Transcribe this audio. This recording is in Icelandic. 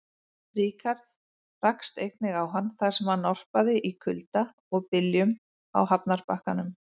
Ríkharð rakst einnig á hann, þar sem hann norpaði í kulda og byljum á hafnarbakkanum.